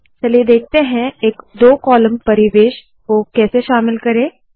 चलिए देखते है एक दो कॉलम वाले परिवेश को कैसे शामिल करे